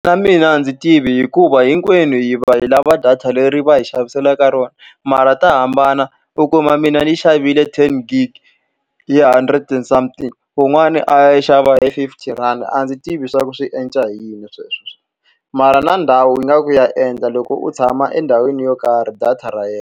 Na mina a ndzi tivi hikuva hinkwenu hi va hi lava data leri va hi xaviselaka rona, mara ta hambana. U kuma mina ni yi xavile ten gig hi hundred and something, wun'wani a ya yi xava hi fifty rand a ndzi tivi swa ku swi endla hi yini swilo sweswo. Mara na ndhawu ingaku ya endla, loko u tshama endhawini yo karhi data ra endla.